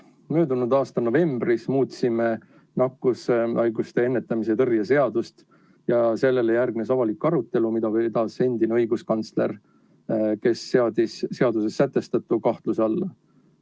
Möödunud aasta novembris muutsime nakkushaiguste ennetamise ja tõrje seadust ja sellele järgnes avalik arutelu, mida vedas endine õiguskantsler, kes seadis seaduses sätestatu kahtluse alla.